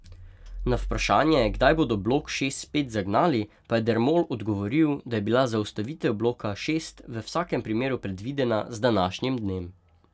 Na vprašanje, kdaj bodo blok šest spet zagnali, pa je Dermol odgovoril, da je bila zaustavitev bloka šest v vsakem primeru predvidena z današnjim dnem.